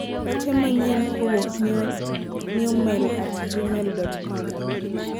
ote manyien kowuok newmail at gmail.com